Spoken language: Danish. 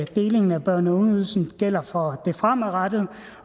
delingen af børne og ungeydelsen gælder fremadrettet